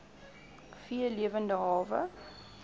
v lewende hawe